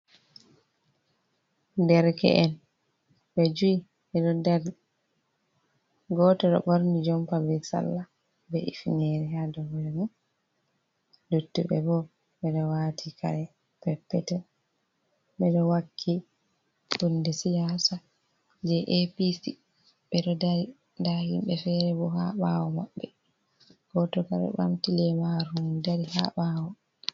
Derke’en, ɓe joi ɓe ɗo dari. Gooto ɗo ɓorni jompa be sarla be hufineere haa dow hoore mum. Luttuɓe bo, ɓe ɗo waati kare peppetel, ɓe ɗo wakki hunde siyaasa je APC, ɓe ɗo dari. Nda himɓe feere bo haa ɓawo maɓɓe, gooto ka ɗo ɓamti leemaru mum dari haa ɓawo.